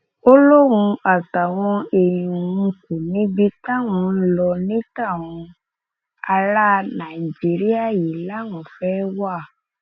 iléèwé ọ̀hún wà lára àwọn ibi tí wọn ti ń fa wàhálà láabú